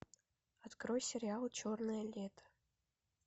открой сериал черное лето